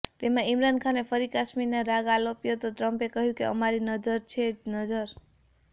તેમાં ઇમરાન ખાને ફરી કાશ્મીર રાગ આલાપ્યો તો ટ્રમ્પે કહ્યું કે અમારી નજર છે જ